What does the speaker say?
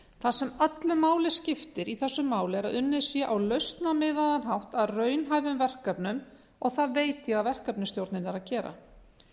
það sem öllu máli skiptir í þessu máli er að unnið sé á lausnamiðaðan hátt að raunhæfum verkefnum og það veit ég að verkefnisstjórnin er að gera